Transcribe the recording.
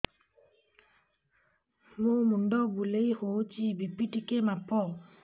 ମୋ ମୁଣ୍ଡ ବୁଲେଇ ହଉଚି ବି.ପି ଟିକେ ମାପ